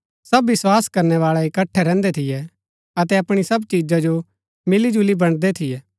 सब विस्वास करनै बाळै इकट्ठै रैहन्दै थियै अतै अपणी सब चिजा जो मिलिजुली बन्ड़दै थियै